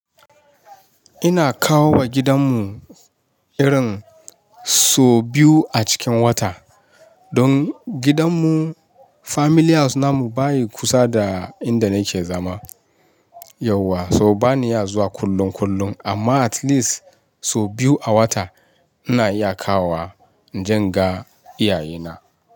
Ina kawo wa gidan mu irin so biyu a cikin wata. Don gidan mu, family house namu baya kusa da inda nake zama yauwa. So bani iya zuwa kullun kullun amma atleast so biyu a wata ina iya kawo wa inje inga iyaye na.